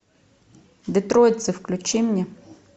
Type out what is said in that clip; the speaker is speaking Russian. детройтцы включи мне